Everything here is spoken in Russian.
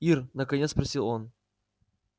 ир наконец спросил он